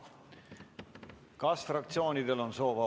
Määran muudatusettepanekute esitamise tähtajaks k.a 28. oktoobri kell 17.15.